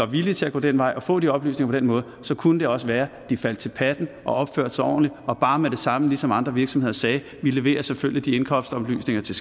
villige til at gå den vej og få de oplysninger på den måde så kunne det også være at de faldt til patten og opførte sig ordentligt og bare med det samme ligesom andre virksomheder sagde vi leverer selvfølgelig de indkomstoplysninger til